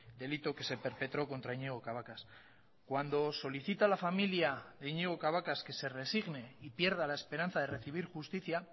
delito que se perpetró contra iñigo cabacas cuando solicita a la familia de iñigo cabacas que se resigne y pierda la esperanza de recibir justicia